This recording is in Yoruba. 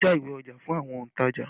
Wọn ń já ìwé ọjà fún àwọn ontaja